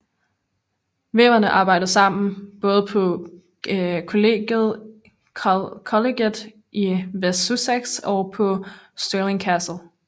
Væverne arbejder både på Colleget i West Sussex og på Stirling Castle